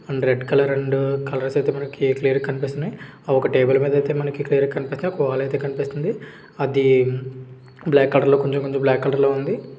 Red colour and colours అయితే మనకి clear గా కనిపిస్తున్నాయి. అ ఒక టేబుల్ మనకి క్లియర్ గా కనిపిస్తున్నయి. కోవాలు అయితే కనిపిస్తుంది. అది బ్లాక్ కలర్ లో కొంచెం-కొంచం బ్లాక్ కలర్ లో ఉంది .